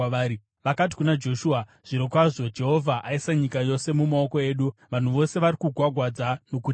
Vakati kuna Joshua, “Zvirokwazvo Jehovha aisa nyika yose mumaoko edu; vanhu vose vari kugwagwadza nokutitya.”